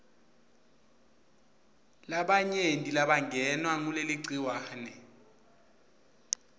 labanyenti labangenwa nguleligciwane